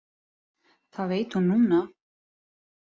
Það veit hún núna.